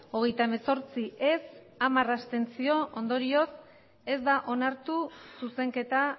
hogeita hemezortzi ez hamar abstentzio ondorioz ez da onartu zuzenketa